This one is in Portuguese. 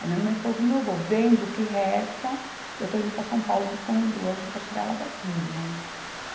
Aí minha mãe falou para o meu vô, vende o que resta, eu estou indo para São Paulo buscar uma ambulância para tirar ela daqui, né?